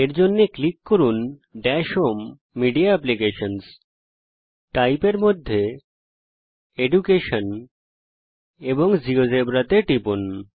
এর জন্যে ক্লিক করুন dash home media applications Type এর মধ্যে এডুকেশন এবং জিওজেবরা তে টিপুন